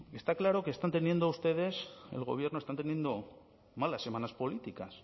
está claro que están teniendo ustedes el gobierno están teniendo malas semanas políticas